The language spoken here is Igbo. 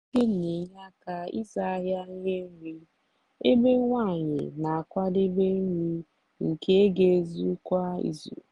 nwoke n'enye aka n'ịzụ ahịa ihe nri ebe nwanyi na-akwadebe nri nke ga ezu kwa izu.